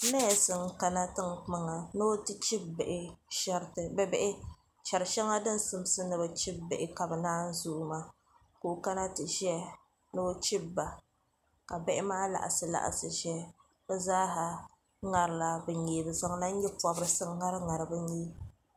nees n kana tinkpaŋa ni o ti chibi bihi sheriti bia bihi shɛri shɛŋa din simsi ni bi chibi bihi ka bi naan zooi maa ka o kana ti ʒɛya ni o chibi ba ka bihi maa laɣasi laɣasi ʒɛya ka o kana ti ŋari ŋari bi nyee bi zaŋla nyɛ pobirisi ŋari ŋari bi nyee